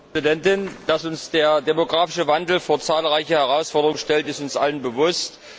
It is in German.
Frau Präsidentin! Dass uns der demografische Wandel vor zahlreiche Herausforderungen stellt, ist uns allen bewusst.